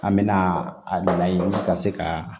An mɛna a na yen ka se ka